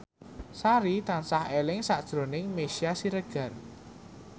Sari tansah eling sakjroning Meisya Siregar